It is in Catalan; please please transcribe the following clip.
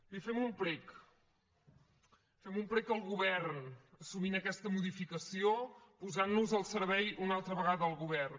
li fem un prec fem un prec al govern assumint aquesta modificació posant nos al servei una altra vegada del govern